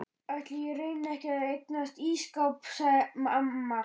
Ætli ég reyni ekki að eignast ísskáp sagði amma.